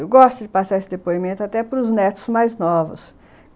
Eu gosto de passar esse depoimento até para os netos mais novos.